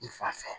I fa fɛ